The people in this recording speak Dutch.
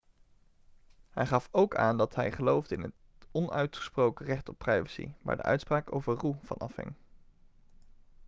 hij gaf ook aan dat hij geloofde in het onuitgesproken recht op privacy waar de uitspraak over roe van afhing